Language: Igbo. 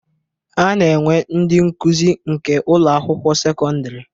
A na-enwe ndị nkụzi nke Ụlọ akwụkwọ sekọndrị